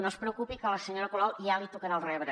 no es preocupi que a la senyora colau ja li tocarà el rebre